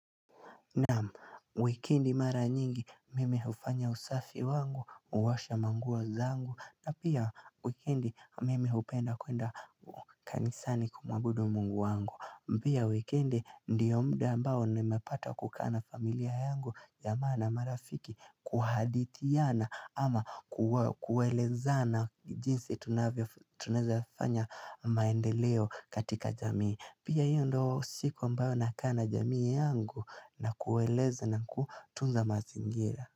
Naam, wikendi mara nyingi mimi hufanya usafi wangu, huosha manguo zangu na pia wikendi mimi hupenda kuenda kanisani kumuabudu mungu wangu Pia wikendi ndio muda ambao nimepata kukaa na familia yangu jamaa na marafiki kuhadithiana ama kuelezana jinsi tunaweza fanya maendeleo katika jamii Pia hiyo ndio siku ambayo nakaa na jamii yangu na kueleza na kutunza mazingira.